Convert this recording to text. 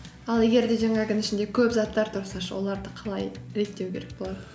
ал егер де жаңағының ішінде көп заттар тұрса ше оларды қалай реттеу керек болады